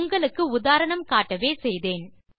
உங்களுக்கு உதாரணம் காட்டவே செய்தேன்